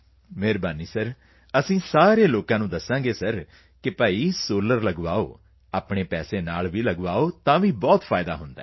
ਠੀਕ ਹੈ ਸਰ ਅਸੀਂ ਸਾਰੇ ਲੋਕ ਤਾਂ ਦੱਸਾਂਗੇ ਸਰ ਕਿ ਭਾਈ ਸੋਲਰ ਲਗਵਾਓ ਆਪਣੇ ਪੈਸੇ ਨਾਲ ਵੀ ਲਗਾਓ ਤੇ ਬਹੁਤ ਫਾਇਦਾ ਹੈ